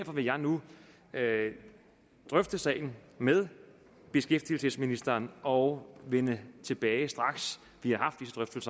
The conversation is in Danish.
vil jeg nu drøfte sagen med beskæftigelsesministeren og vende tilbage straks vi